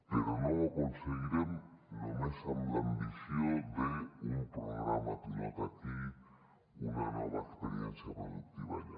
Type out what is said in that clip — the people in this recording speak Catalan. però no ho aconseguirem només amb l’ambició d’un programa pilot aquí una nova experiència productiva allà